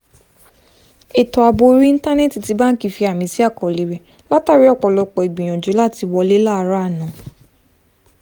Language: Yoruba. ètò ààbò orí íńtánẹ́ẹ̀tì ti báńkì fi àmì sí àkọọ́lẹ̀ rẹ̀ látàrí ọ̀pọ̀lọpọ̀ ìgbìyànjú làti wọlé láàárọ̀ àná